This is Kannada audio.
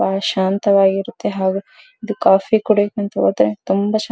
ಬಹಳ ಶಾಂತವಾಗಿರುತ್ತದೆ ಹಾಗು ಕಾಫೀ ಕುಡಿಯೋಕೆ ಅಂತ ಹೋದ್ರೆ ತುಂಬಾ ಶಾಂತ --